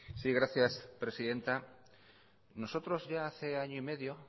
sí gracias presidenta nosotros ya hace año y medio